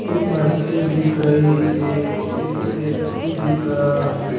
एक मशीन दिख रही है एक व्यक्ति दिख रहा है।